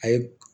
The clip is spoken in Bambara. A ye